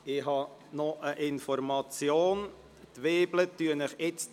Eine Information: Die Weibel werden Ihnen …